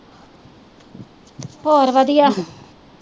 ਹੋਰ ਵਧੀਆ